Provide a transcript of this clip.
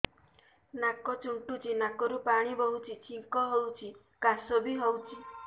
ନାକ ଚୁଣ୍ଟୁଚି ନାକରୁ ପାଣି ବହୁଛି ଛିଙ୍କ ହଉଚି ଖାସ ବି ହଉଚି